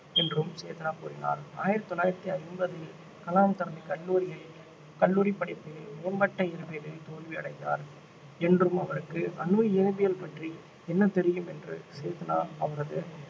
என்றும் சேத்னா கூறினார் ஆயிரத்து தொள்ளாயிரத்து ஐம்பதில் கலாம் தனது கல்லூரியில் கல்லூரிப் படிப்பில் மேம்பட்ட இயற்பியலில் தோல்வி அடைந்தார் என்றும் அவருக்கு அணு இயற்பியல் பற்றி என்ன தெரியும் என்று சேத்னா அவரது